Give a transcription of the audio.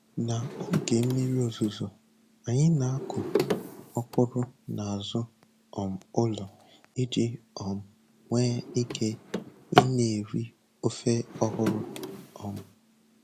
Na-oge mmiri ozuzo anyị na-akụ ọkwụrụ n'azụ um ụlọ iji um nwee ike ị na eri ofe ọhụrụ. um